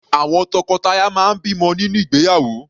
Àwọn tọkọtaya máa ń bímọ nínú ìgbéyàwó.